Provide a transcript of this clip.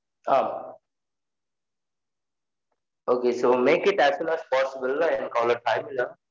Ah Okay so make it as soon as possible. I am call it back yaeh